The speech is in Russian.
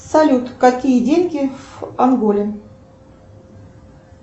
салют какие деньги в анголе